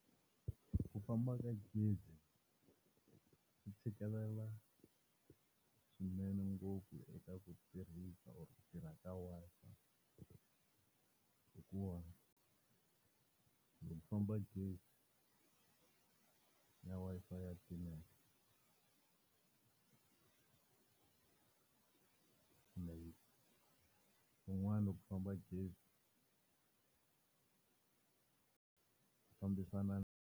Ku famba ka gezi swi tshikelela swinene ngopfu eka ku tirhisa or ku tirha ka Wi-Fi. hikuva loko ku famba gezi na Wi-Fi ya timeka, and kun'wana loko ku famba gezi swi fambisa.